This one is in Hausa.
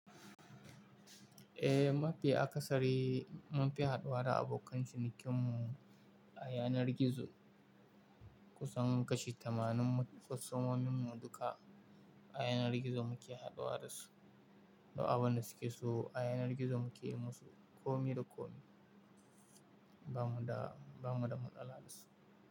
Eh, mafi akasari munfi haduwa da abokan cinikin mu a yanar gizo. Kusan kashi tamanin kwastomomin mu duka a yanar gizo muke haduwa da su. Duk abin da suke so a yanar gizo muke yi musu, komi da komi. Ba mu da, ba mu da matsala da su.